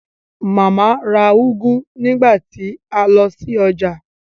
Màmá ra úgú nígbà tí a lọ sí ọjà